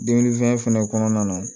Dumunifɛn fɛnɛ kɔnɔna na